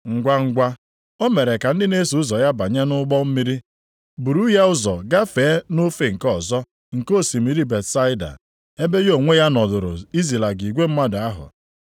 Ngwangwa, o mere ka ndị na-eso ụzọ ya banye nʼụgbọ mmiri buru ya ụzọ gafee nʼofe nke ọzọ nke osimiri Betsaida, ebe ya onwe ya nọdụrụ izilaga igwe mmadụ ahụ.